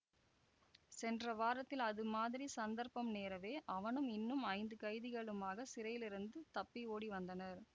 சென்ற வாரத்தில் அது மாதிரி சந்தர்ப்பம் நேரவே அவனும் இன்னும் ஐந்து கைதிகளுமாகச் சிறையிலிருந்து தப்பி ஓடி வந்தனர்